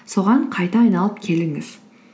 соған қайта айналып келіңіз